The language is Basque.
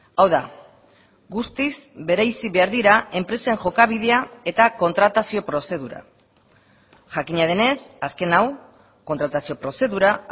hau da guztiz bereizi behar dira enpresen jokabidea eta kontratazio prozedura jakina denez azken hau kontratazio prozedura